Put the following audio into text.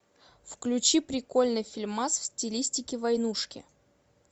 включи прикольный фильмас в стилистике войнушки